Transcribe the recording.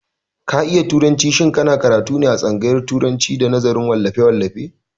Ka iya turanci, shin ka na karatu ne a tsangaryan turacin da nazarin wallafe-wallafe?